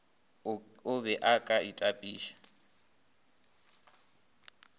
o be o ka itapiša